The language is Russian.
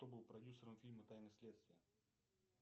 кто был продюсером фильма тайны следствия